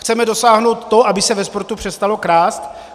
Chceme dosáhnout toho, aby se ve sportu přestalo krást?